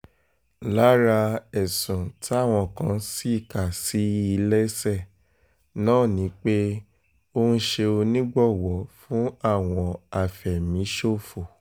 lára ẹ̀sùn táwọn kan sì kà sí i lẹ́sẹ̀ náà ni pé ó ń ṣe onígbọ̀wọ́ fún àwọn afẹ̀míṣòfò